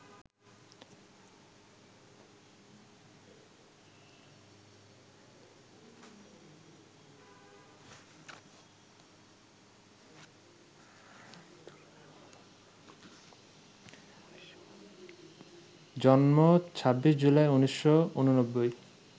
জন্ম ২৬ জুলাই, ১৯৮৯